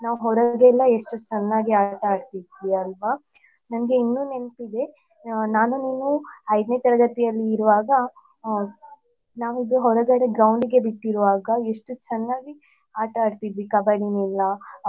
ನಾವ್ ಹೊರಗಡೆ ಎಲ್ಲ ಎಷ್ಟು ಚನ್ನಾಗಿ ಆಟ ಆಡ್ತಾ ಇದ್ವಿ ಅಲ ನನ್ಗೆ ಇನ್ನು ನೆನ್ಪಿದೆ ನಾನು ನೀನು ಐದ್ನೇ ತರಗತೀಲಿ ಇರುವಾಗ ಅ ನಾವಿಬ್ಬರು ಹೊರಗಡೆ groundಗೆ ಬಿಟ್ಟುರುವಾಗ ನಾವು ಎಷ್ಟು ಚನ್ನಾಗಿ ಆಟಾಡ್ತಿದ್ವಿ ಕಬಡಿ ಎಲ್ಲಾ.